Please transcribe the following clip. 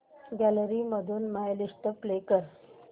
gallery मधून my list play कर